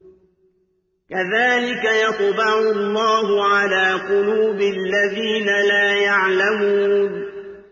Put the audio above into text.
كَذَٰلِكَ يَطْبَعُ اللَّهُ عَلَىٰ قُلُوبِ الَّذِينَ لَا يَعْلَمُونَ